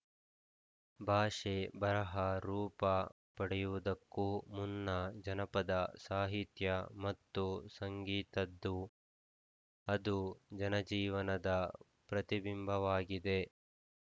ಭಾಷೆ ಬರಹ ರೂಪ ಪಡೆಯುವುದಕ್ಕೂ ಮುನ್ನ ಜನಪದ ಸಾಹಿತ್ಯ ಮತ್ತು ಸಂಗೀತದ್ದು ಅದು ಜನಜೀವನದ ಪ್ರತಿಬಿಂಬವಾಗಿದೆ